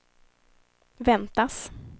väntas